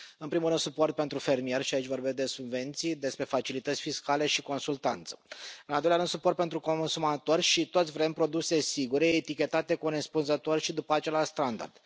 În primul rând, suport pentru fermieri, și aici vorbesc de subvenții, despre facilități fiscale și consultanță. În al doilea rând, suport pentru consumatori și toți vrem produse sigure, etichetate corespunzător și după același standard.